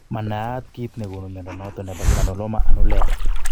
Manayat kiit negonu mnyondo noton nebo granuloma annulare